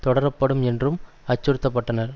தொடரப்படும் என்றும் அச்சுறுத்த பட்டனர்